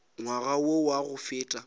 ngwaga wo wa go feta